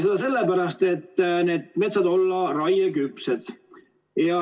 Seda sellepärast, et need metsad olla raieküpsed.